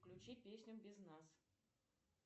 включи песню без нас